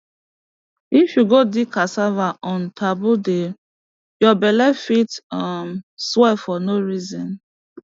if you go dig cassava on taboo day your belle fit um swell for no reason